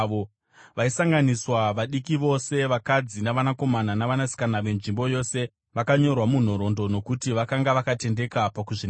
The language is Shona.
Vaisanganiswa vadiki vose, vakadzi, navanakomana navanasikana venzvimbo yose vakanyorwa munhoroondo nokuti vakanga vakatendeka pakuzvinatsa.